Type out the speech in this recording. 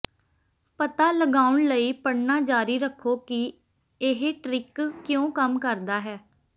ਪਤਾ ਲਗਾਉਣ ਲਈ ਪੜ੍ਹਨਾ ਜਾਰੀ ਰੱਖੋ ਕਿ ਇਹ ਟ੍ਰਿਕ ਕਿਉਂ ਕੰਮ ਕਰਦਾ ਹੈ